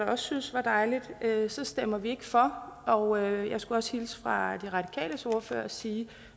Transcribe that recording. også synes var dejligt så stemmer vi ikke for og jeg skulle også hilse fra de radikales ordfører og sige